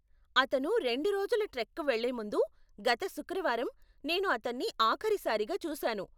అతను రెండు రోజుల ట్రెక్కి వెళ్లే ముందు, గత శుక్రవారం నేను అతన్ని ఆఖరి సారిగా చూసాను.